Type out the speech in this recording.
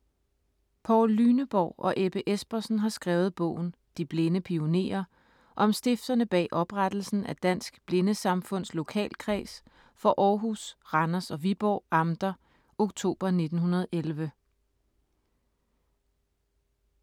Poul Lüneborg og Ebbe Espersen har skrevet bogen: ”De blinde pionerer - Om stifterne bag oprettelsen af Dansk Blindesamfunds lokalkreds for Aarhus, Randers og Viborg amter oktober 1911”.